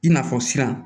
I n'a fɔ siran